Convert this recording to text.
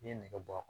N'i ye nɛgɛ bɔ